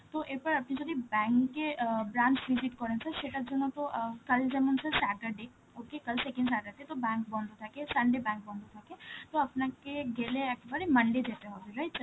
তো এরপর আপনি যদি bank এ অ্যাঁ branch visit করেন sir, সেটার জন্য তো অ্যাঁ কাল যেমন sir saturday, okay কাল second saturday তো bank বন্ধ থাকে, sunday bank বন্ধ থাকে, আপনাকে গেলে একেবারে monday যেতে হবে, right sir?